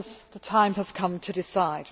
The time has come to decide.